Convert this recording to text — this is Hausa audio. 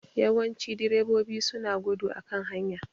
Yawancin direbobi su na gudu a kan hanya